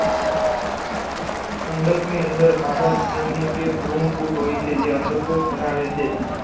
અંડકની અંદર માદાજન્યુજનક કે ભ્રૂણપૂટ હોય છે જે અંડકોષ ધરાવે છે.